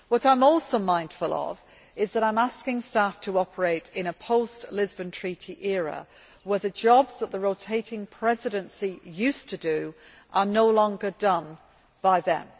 are. I am also mindful that I am asking staff to operate in a post Lisbon Treaty era, where the jobs that the rotating Presidency used to do are no longer done by them.